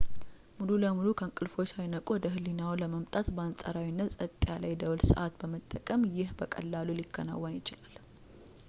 ሙሉ በሙሉ ከእንቅልፍዎ ሳይነቁ ወደ ህሊናዎ ለማምጣት በአንጻራዊነት ጸጥ ያለ የደወል ሰዓት በመጠቀም ይህ በቀላሉ ሊከናወን ይችላል